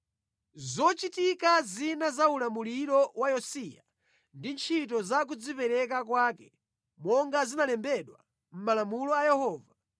Zochitika zina za ulamuliro wa Yosiya ndi ntchito za kudzipereka kwake, monga zinalembedwa mʼMalamulo a Yehova,